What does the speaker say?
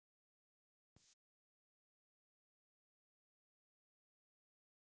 Eiki kemur fram á svalirnar og hrópar